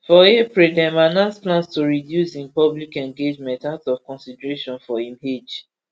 for april dem announce plans to reduce im public engagements out of consideration for im age